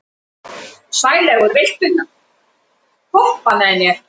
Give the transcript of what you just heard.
Sælaugur, viltu hoppa með mér?